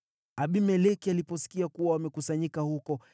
Abimeleki aliposikia kuwa wamekusanyika huko,